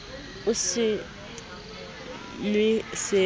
o se nw e seno